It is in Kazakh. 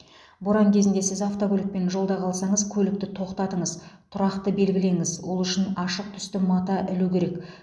боран кезінде сіз автокөлікпен жолда қалсаңыз көлікті тоқтатыңыз тұрақты белгілеңіз ол үшін ашық түсті мата ілу керек